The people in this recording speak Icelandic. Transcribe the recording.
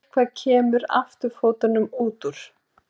Eitthvað kemur afturfótunum út úr